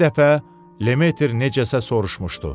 Bir dəfə Lemetr necəsə soruşmuşdu.